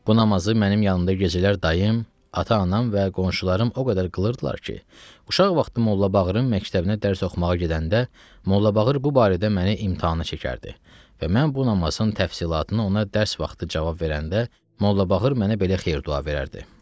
Bu namazı mənim yanımda gecələr dayım, ata-anam və qonşularım o qədər qılırdılar ki, uşaq vaxtı Mollabağırın məktəbinə dərs oxumağa gedəndə Mollabağır bu barədə məni imtahana çəkərdi və mən bu namazın təfsilatını ona dərs vaxtı cavab verəndə Mollabağır mənə belə xeyir-dua verərdi.